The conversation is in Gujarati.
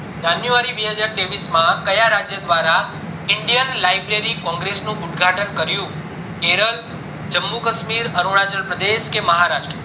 january બે હજાર ત્રેવીસ માં કયા રાજ્ય દ્વારા indian library congress ઉદ્ઘાટન કર્યું કેરલ જમ્મુ કાશ્મીર અરુણાચલ પ્રદેશ કે મહારાષ્ટ્ર